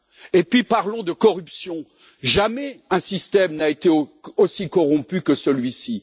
Et puis parlons de la corruption jamais un système n'a été aussi corrompu que celui ci.